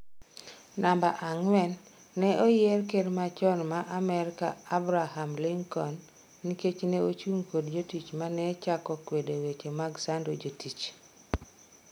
Namba ang'wen, neoyier ker machon ma Amerka Abraham Lincoln nikech ne ochung kod jotich mane chako kwedo weche mag sando jotich.